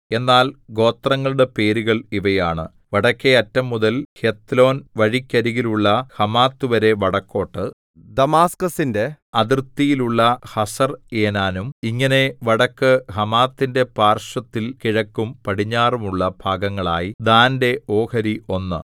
എന്നാൽ ഗോത്രങ്ങളുടെ പേരുകൾ ഇവയാണ് വടക്കെ അറ്റം മുതൽ ഹെത്ലോൻ വഴിക്കരികിലുള്ള ഹമാത്ത്‌വരെ വടക്കോട്ട് ദമാസ്ക്കസിന്റെ അതിർത്തിയിലുള്ള ഹസർഏനാനും ഇങ്ങനെ വടക്ക് ഹമാത്തിന്റെ പാർശ്വത്തിൽ കിഴക്കും പടിഞ്ഞാറും ഉള്ള ഭാഗങ്ങളായി ദാന്റെ ഓഹരി ഒന്ന്